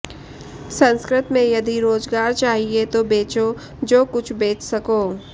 संस्कृत में यदि रोजगार चाहिए तो बेचो जो कुछ बेच सको